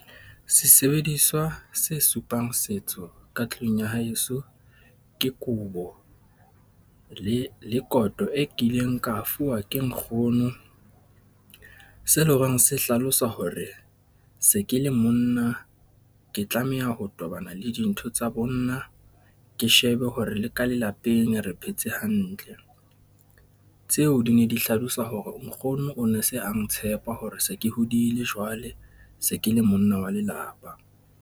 Sesebediswa se supang setso ka tlung ya haeso ke kobo le le koto e kileng ka fuwa ke nkgono. Se eleng horeng se hlalosa hore se ke le monna ke tlameha ho tobana le dintho tsa bonna, ke shebe hore le ka lelapeng re phetse hantle. Tseo di ne di hlalosa hore nkgono o ne se a ntshepa hore se ke hodile jwale, se ke le monna wa lelapa.